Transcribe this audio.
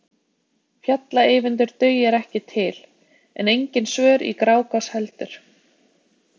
Fjalla-Eyvindur dugir ekki til, en engin svör í Grágás heldur.